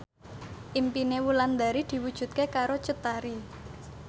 impine Wulandari diwujudke karo Cut Tari